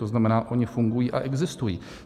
To znamená, oni fungují a existují.